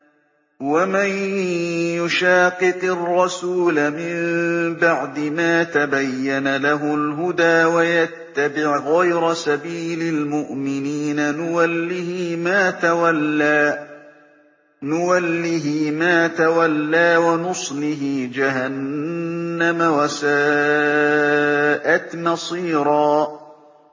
وَمَن يُشَاقِقِ الرَّسُولَ مِن بَعْدِ مَا تَبَيَّنَ لَهُ الْهُدَىٰ وَيَتَّبِعْ غَيْرَ سَبِيلِ الْمُؤْمِنِينَ نُوَلِّهِ مَا تَوَلَّىٰ وَنُصْلِهِ جَهَنَّمَ ۖ وَسَاءَتْ مَصِيرًا